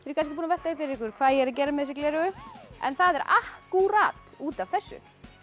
kannski búin að velta því fyrir ykkur hvað ég er að gera með þessi gleraugu en það er akkúrat út af þessu